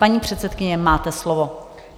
Paní předsedkyně, máte slovo.